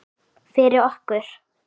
Fyrir okkur.